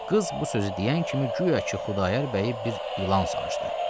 Qız bu sözü deyən kimi guya ki, Xudayar bəyi bir ilan sancdı.